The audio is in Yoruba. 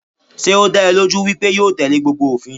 Sé ó dá ẹ lójú wípé yóò tẹ̀lé gbogbo òfin?